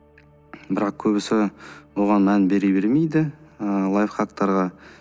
бірақ көбісі оған мән бере бермейді ы лайфхактарға